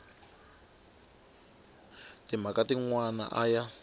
timhaka tin wana a ya